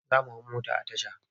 Za mu hau mota a tasha.